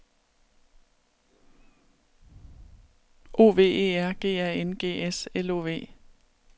O V E R G A N G S L O V